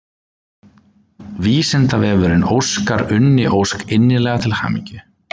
Vísindavefurinn óskar Unni Ósk innilega til hamingju.